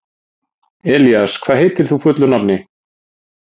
Elías, hvað heitir þú fullu nafni?